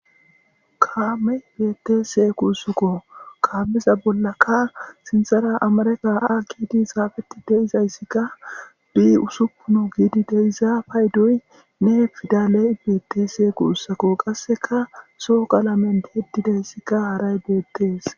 kameyi betese gusuko kameza bollaka sinithara akidi xafetidayis B6 gidi deyiza payidoyi betese gusako qasseka zo'o qalameni tiyrtidayisi harayi betes